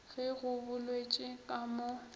ge go boletšwe ka mo